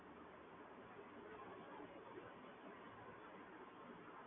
હું smartphone વાપરું છું